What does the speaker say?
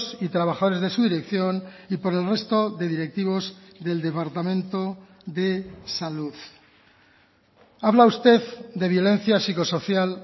y trabajadores de su dirección y por el resto de directivos del departamento de salud habla usted de violencia psicosocial